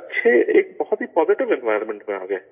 اچھے ایک بہت ہی پازیٹو انوائرمنٹ میں آ گئے